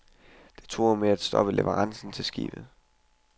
Det truer med at stoppe leverancerne til skibet.